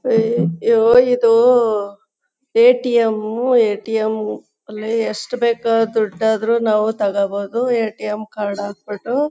ಅಯ್ಯೋ ಇದು ATM ATM ಅಲ್ಲಿ ಎಷ್ಟು ಬೇಕು ದೊಡ್ದು ಆದ್ರೂ ನಾವು ತಗೋಬಹುದು ಏಟಿಎಂ ಕಾರ್ಡ್ ಹಾಕ್ ಬಿಟ್ಟು--